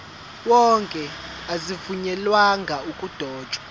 wonke azivunyelwanga ukudotshwa